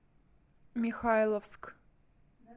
михайловск